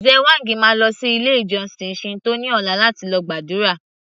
Lze whang máa lọ sí ilé ìjósìn Shinto ní ọ̀la láti lọ gbàdúrà